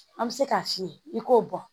An bɛ se k'a f'i ye i k'o bɔ